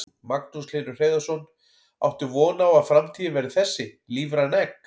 Magnús Hlynur Hreiðarsson: Áttu von á að framtíðin verði þessi, lífræn egg?